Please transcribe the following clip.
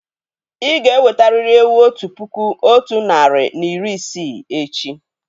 Ì ga-ewetarị́li ewu otu puku otu narị na iri isii echi!